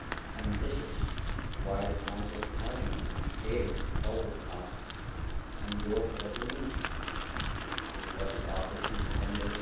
And this is why the Council has not been able to follow up on your resolution which was adopted in September